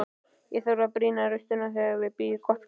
Ég þarf að brýna raustina þegar ég býð gott kvöld.